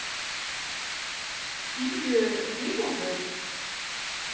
Tíu mínútur?